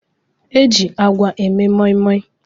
E ji agwa eme moimoi